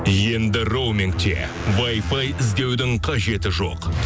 енді роумингте вайфай іздеудің қажеті жоқ